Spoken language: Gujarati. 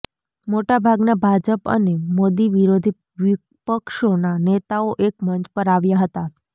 મોટાભાગના ભાજપ અને મોદીવિરોધી વિપક્ષોના નેતાઓ એક મંચ પર આવ્યા હતા